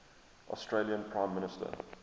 australian prime minister